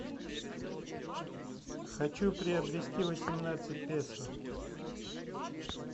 хочу приобрести восемнадцать песо